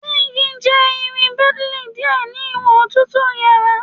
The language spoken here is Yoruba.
Zinc jẹ irin brittle diẹ ni iwọn otutu yara